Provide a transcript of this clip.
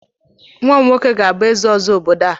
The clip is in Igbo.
Nwa m nwoke ga-abụ eze ọzọ obodo a